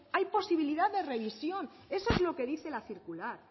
hay posibilidad de revisión eso es lo que dice la circular